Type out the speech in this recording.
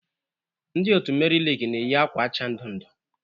Ndị otu Meri Lig na-eyi akwa acha ndu ndu.